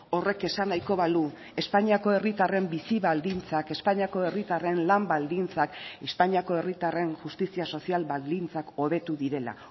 horrek esan nahiko balu espainiako herritarren bizi baldintzak espainiako herritarren lan baldintzak espainiako herritarren justizia sozial baldintzak hobetu direla